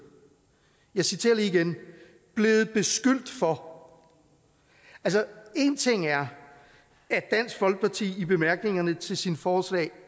jeg citerer lige igen blevet beskyldt for altså én ting er at dansk folkeparti i bemærkningerne til sine forslag